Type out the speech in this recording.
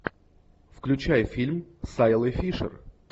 включай фильм с айлой фишер